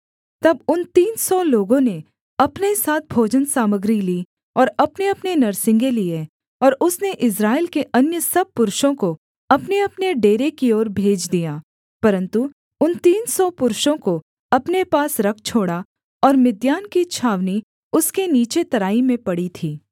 तब उन तीन सौ लोगों ने अपने साथ भोजन सामग्री ली और अपनेअपने नरसिंगे लिए और उसने इस्राएल के अन्य सब पुरुषों को अपनेअपने डेरे की ओर भेज दिया परन्तु उन तीन सौ पुरुषों को अपने पास रख छोड़ा और मिद्यान की छावनी उसके नीचे तराई में पड़ी थी